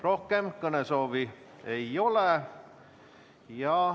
Rohkem kõnesoovi ei ole.